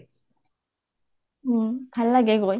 উম ভাল লাগে গৈ